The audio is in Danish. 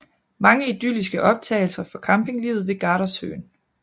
Mange idylliske optagelser fra campinglivet ved Gardasøen